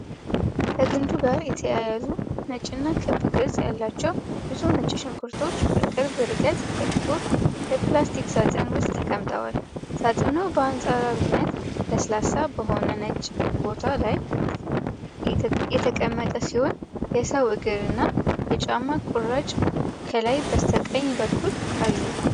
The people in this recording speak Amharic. ከግንዱ ጋር የተያያዙ ነጭና ክብ ቅርፅ ያላቸው ብዙ ነጭ ሽንኩርቶች በቅርብ ርቀት በጥቁር የፕላስቲክ ሣጥን ውስጥ ተቀምጠዋል። ሣጥኑ በአንፃራዊነት ለስላሳ በሆነ ነጭ ቦታ ላይ የተቀመጠ ሲሆን የሰው እግር እና የጫማ ቁራጭ ከላይ በስተቀኝ በኩል አሉ።